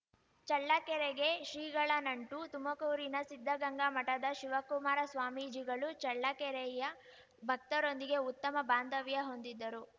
ಚಳ್ಳಕೆರೆಗೆ ಶ್ರೀಗಳ ನಂಟು ತುಮಕೂರಿನ ಸಿದ್ದಗಂಗಾ ಮಠದ ಶಿವಕುಮಾರಸ್ವಾಮೀಜಿಗಳು ಚಳ್ಳಕೆರೆಯ ಭಕ್ತರೊಂದಿಗೆ ಉತ್ತಮ ಬಾಂಧವ್ಯ ಹೊಂದಿದ್ದರು